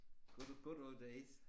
Good good old days